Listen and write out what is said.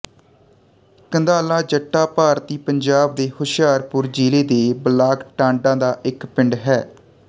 ਕੰਧਾਲਾ ਜੱਟਾਂ ਭਾਰਤੀ ਪੰਜਾਬ ਦੇ ਹੁਸ਼ਿਆਰਪੁਰ ਜ਼ਿਲ੍ਹੇ ਦੇ ਬਲਾਕ ਟਾਂਡਾ ਦਾ ਇੱਕ ਪਿੰਡ ਹੈ